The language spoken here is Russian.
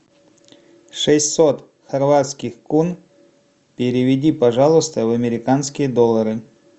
шестьсот хорватских кун переведи пожалуйста в американские доллары